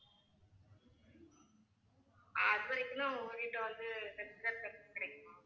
ஆஹ் அதுவரைக்கும் தான் உங்ககிட்ட வந்து health care services கிடைக்குமா